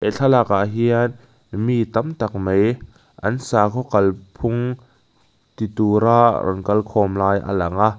he thlalakah hian mi tamtak mai an sakhaw kal phung ti tura lo kal khawm lai a lang a.